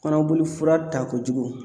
Kɔnɔboli fura ta kojugu